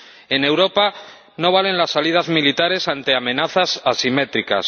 En Europa no valen las salidas militares ante amenazas asimétricas